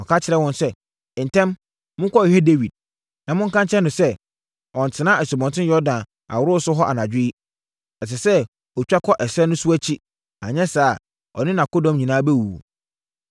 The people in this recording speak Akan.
Ɔka kyerɛɛ wɔn sɛ, “Ntɛm! Monkɔhwehwɛ Dawid, na monka nkyerɛ no sɛ, ɔnntena Asubɔnten Yordan aworɔso hɔ anadwo yi. Ɛsɛ sɛ ɔtwa kɔ ɛserɛ no so akyi, anyɛ saa a, ɔne nʼakodɔm nyinaa bɛwuwu.”